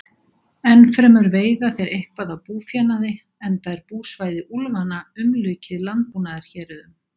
Ennfremur veiða þeir eitthvað af búfénaði, enda er búsvæði úlfanna umlukið landbúnaðarhéruðum.